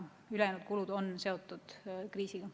Nii et ülejäänud kulud on seotud kriisiga.